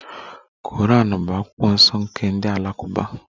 Quran bụ akwụkwọ nsọ nke ndị Alakụba